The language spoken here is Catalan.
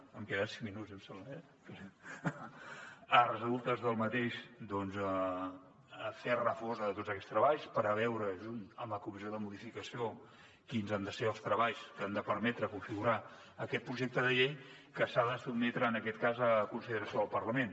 em queden cinc minuts em sembla eh de resultes del mateix doncs fer refosa de tots aquests treballs per veure junt amb la comissió de codificació quins han de ser els treballs que han de permetre configurar aquest projecte de llei que s’ha de sotmetre en aquest cas a consideració del parlament